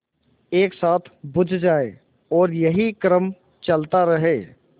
एक साथ बुझ जाएँ और यही क्रम चलता रहे